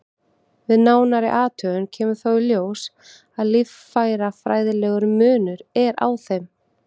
Við nánari athugun kemur þó í ljós að líffærafræðilegur munur er á þeim.